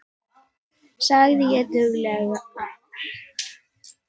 sagði ég dauflega.